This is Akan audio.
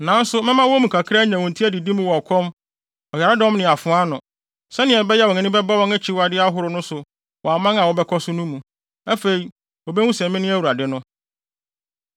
Nanso mɛma wɔn mu kakra anya wɔn ti adidi mu wɔ ɔkɔm, ɔyaredɔm ne afoa ano, sɛnea ɛbɛyɛ a wɔn ani bɛba wɔn akyiwade ahorow no so wɔ aman a wɔbɛkɔ so no mu. Afei wobehu sɛ me ne Awurade no.”